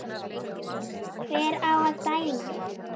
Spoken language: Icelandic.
Hver á að dæma?